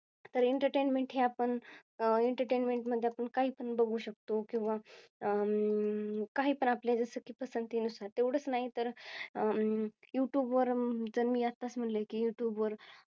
आह तर Entertainment हे आपण Entertainment मध्ये आपण काही पण बघू शकतो किंवा अं काही पण आपल्या जसं की आपल्या पसंती नुसार तेवढंच नाही तर अं Youtube वर जर मी आताच असे म्हटले की Youtube वर